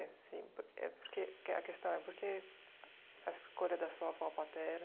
Assim por é por que que a questão é por que a escolha da sua avó paterna?